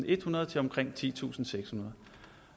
ethundrede til omkring titusinde